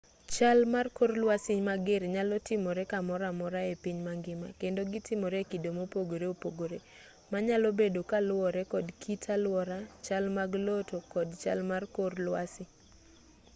chal mar kor lwasi mager nyalo timore kamoro amora e piny mangima kendo gitimore e kido mopogore opogore manyalo bedo kaluwore kod kit alwora chal mag lowo to kod chal mag kor lwasi